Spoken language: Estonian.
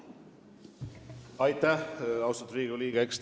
Aitäh, austatud Riigikogu liige!